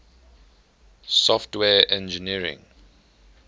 software engineering